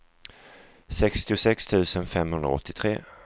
sextiosex tusen femhundraåttiotre